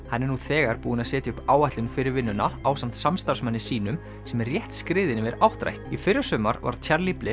hann er nú þegar búinn að setja upp áætlun fyrir vinnuna ásamt samstarfsmanni sínum sem er rétt skriðinn yfir áttrætt í fyrrasumar varð Charlie